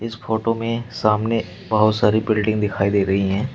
Photo में सामने बहुत सारी बिल्डिंग दिखाई दे रही है।